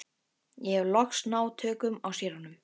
Ég hef loks náð tökum á séranum.